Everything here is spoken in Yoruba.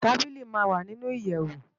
Tábìlí má n wá ninú iyèwó